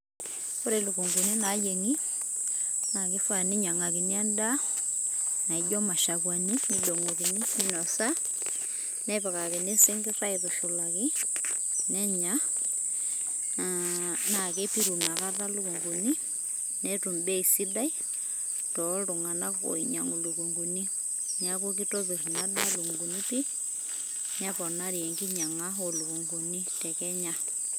Ore lukung'uni naayeng'i naake ifaa ninyang'akini endaa naijo mashakuani, nidong'okini minosa, nepikakini sinkir aitushulaki nenya naake epiru inakata ilukung'uni netum bei sidai toltung'anak oinyang'u lukung'uni. Neeku kitopir ina daa lukung'uni pii neponari enkinyang'a o lukung'uni te Kenya.